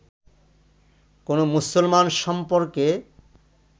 কোনো মুসলমান সম্পর্কে